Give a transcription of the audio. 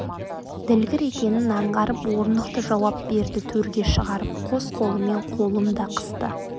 ділгір екенін аңғарып орнықты жауап берді төрге шығарып қос қолымен қолын да қысты